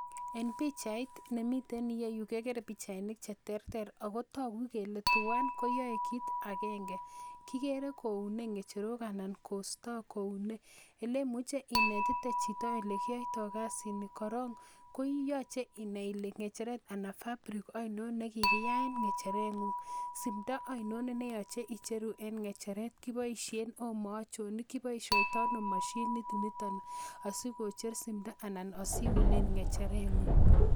En pichait nemiten iyeyu kekere pichainik cheterter ako toku kele twan koyoe kit agenge kikere koune ng'echerok anan kostoo koune elemuche inetite chito elekiyoitoo kasit ni korong koyoche inai ile ng'echeret ana fabric oinon nekikiyaen ng'echeret ng'ung simndo oinon neyoche icheru en ng'echeret kiboisien Omo achon kiboisiotoo ano mashinit niton asikocher simdo anan asiunen ng'echeret ng'ung